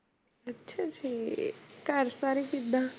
ਅੱਛਾ ਜੀ ਘਰ ਸਾਰੇ ਕਿੱਦਾਂ